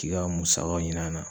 K'i ka musakaw ɲin'a na